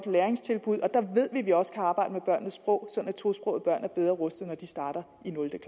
læringstilbud og der ved vi at vi også kan arbejde med børnenes sprog sådan at tosprogede børn vil være bedre rustet når de starter